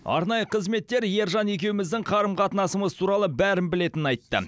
арнайы қызметтер ержан екеуміздің қарым қатынасымыз туралы бәрін білетінін айтты